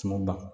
Tumu ban